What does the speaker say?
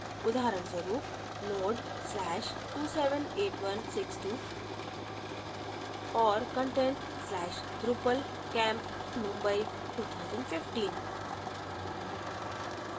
उदाहरणस्वरूप node/278162 और content/drupalcampmumbai2015